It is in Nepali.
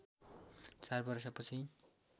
चार वर्षपछि